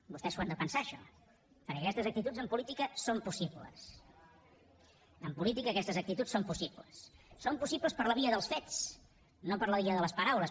vostès s’ho han de pensar això perquè aquestes actituds en política són possibles en política aquestes actituds són possibles fets no per la via de les paraules